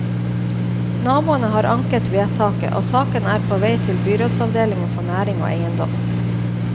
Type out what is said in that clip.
Naboene har anket vedtaket, og saken er på vei til byrådsavdelingen for næring og eiendom.